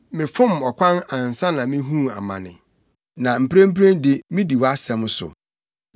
Mefom ɔkwan ansa na mihuu amane, na mprempren de midi wʼasɛm so.